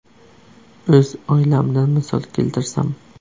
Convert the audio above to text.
O‘z oilamdan misol keltirsam.